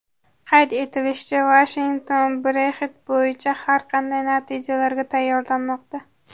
Qayd etilishicha, Vashington Brexit bo‘yicha har qanday natijalarga tayyorlanmoqda.